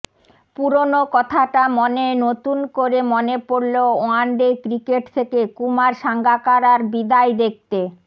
পুরনো কথাটা মনে নতুন করে মনে পড়লো ওয়ান ডে ক্রিকেট থেকে কুমার সাঙ্গাকারার বিদায় দেখতে